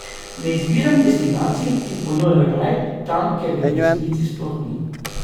Ne izbiram destinacij, ki ponujajo raj tam, kjer ga v resnici sploh ni.